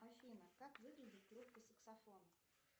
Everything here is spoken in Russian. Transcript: афина как выглядит трубка саксофона